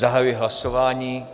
Zahajuji hlasování.